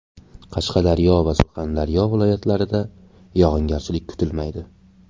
Qashqadaryo va Surxondaryo viloyatlarida yog‘ingarchilik kutilmaydi.